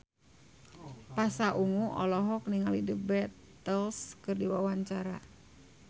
Pasha Ungu olohok ningali The Beatles keur diwawancara